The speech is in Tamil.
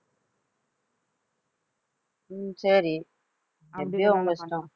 உம் சரி எப்பிடியோ உங்க இஷ்டம்